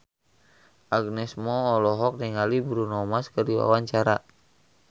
Agnes Mo olohok ningali Bruno Mars keur diwawancara